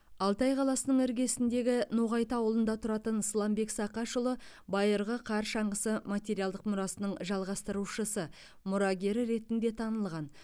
алтай қаласының іргесіндегі ноғайты ауылында тұратын сыламбек сақашұлы байырғы қар шаңғысы материалдық мұрасының жалғастырушысы мұрагері ретінде танылған